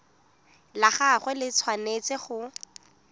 la gagwe le tshwanetse go